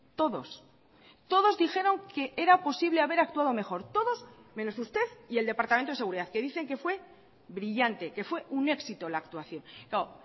todos todos dijeron que era posible haber actuado mejor todos menos usted y el departamento de seguridad que dicen que fue brillante que fue un éxito la actuación claro